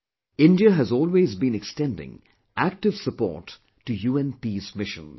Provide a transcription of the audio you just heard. India has always been extending active support to UN Peace Missions